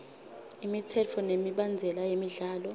imitsetfo nemibandzela yemidlalo